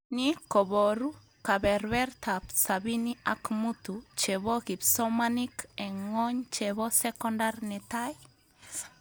Ni kobaru kebebertaab sabini ak mutu chebo kipsomanink eng ngwony chebo sokondar netai?